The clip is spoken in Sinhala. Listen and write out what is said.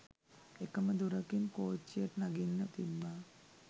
එකම දොරකින් කොච්ච්යට නගින්න තිබ්බා